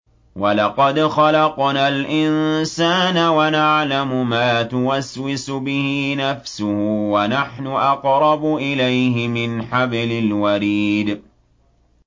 وَلَقَدْ خَلَقْنَا الْإِنسَانَ وَنَعْلَمُ مَا تُوَسْوِسُ بِهِ نَفْسُهُ ۖ وَنَحْنُ أَقْرَبُ إِلَيْهِ مِنْ حَبْلِ الْوَرِيدِ